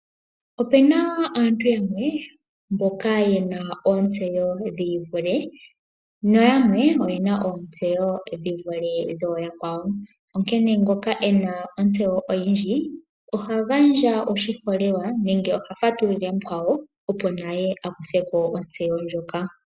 Opena aantu yamwe mboka yena ontseyo dhiivule nayamwe oyena ontseyo dhi vule dhayakwawo. Onkene ngoka ena ontseyo oyindji ohagandja oshiholelwa nenge oha fatulilile mukwawo opo naye akutheko ontseyo ndjoka.